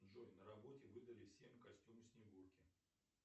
джой на работе выдали всем костюм снегурки